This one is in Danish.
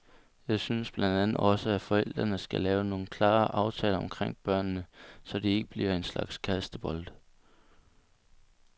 Jeg synes blandt andet også at forældrene skal lave nogle klare aftaler omkring børnene, så de ikke bliver en slags kastebolde.